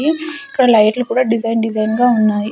ఈ ఇక్కడ లైట్లు కూడా డిజైన్ డిజైన్ గా ఉన్నాయి.